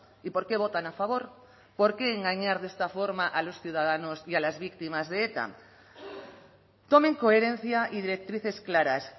y por qué votan a favor por qué engañar de esta forma a los ciudadanos y a las víctimas de eta tomen coherencia y directrices claras